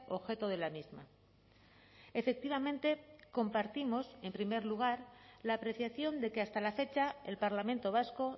objeto de la misma efectivamente compartimos en primer lugar la apreciación de que hasta la fecha el parlamento vasco